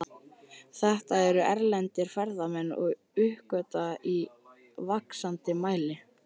Þetta eru erlendir ferðamenn að uppgötva í vaxandi mæli.